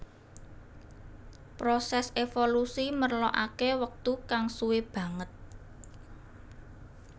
Prosès évolusi merlokaké wektu kang suwé banget